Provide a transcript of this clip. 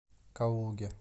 калуги